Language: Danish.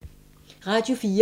Radio 4